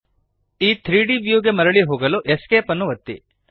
ಈ 3ದ್ ವ್ಯೂ ಗೆ ಮರಳಿ ಹೋಗಲು ESC ಅನ್ನು ಒತ್ತಿರಿ